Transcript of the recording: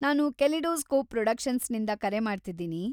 ನಾನು ಕೆಲಿಡೋಸ್ಕೋಪ್ ಪ್ರೊಡಕ್ಷನ್ಸ್‌ನಿಂದ ಕರೆ ಮಾಡ್ತಿದ್ದೀನಿ.